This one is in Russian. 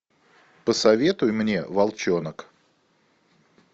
посоветуй мне волчонок